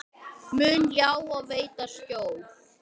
mun ljá og veita skjól.